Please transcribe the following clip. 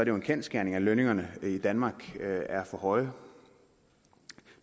jo en kendsgerning at lønningerne i danmark er for høje